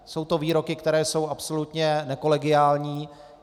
Jsou to výroky, které jsou absolutně nekolegiální.